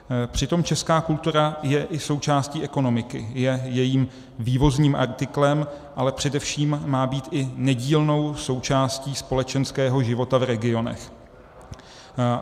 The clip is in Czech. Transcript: Přitom česká kultura je i součástí ekonomiky, je jejím vývozním artiklem, ale především má být i nedílnou součástí společenského života v regionech.